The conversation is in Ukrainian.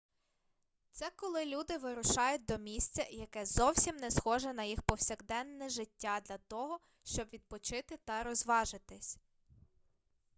це коли люди вирушають до місця яке зовсім не схоже на їх повсякдене життя для того щоб відпочити та розважитися